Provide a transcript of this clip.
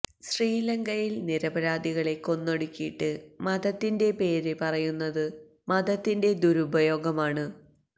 ശ്രീലങ്കയിൽ നിരപരാധികളെ കൊന്നൊടുക്കിയിട്ട് മതത്തിൻെറ പേര് പറയുന്നത് മതത്തിൻെറ ദുരുപയോഗമാണ്